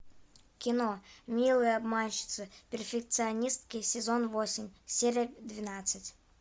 кино милые обманщицы перфекционистки сезон восемь серия двенадцать